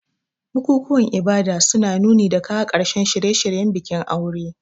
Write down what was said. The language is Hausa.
Bukukuwan ibada suna nuni da kawo ƙarshen shirye-shiryen bikin aure.